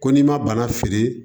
Ko n'i ma bana feere